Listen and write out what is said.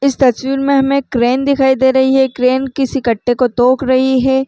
इस तस्वीर में हमे क्रेन दिखाई दे रही हे क्रेन किसी कट्टे को तोक रही हे ।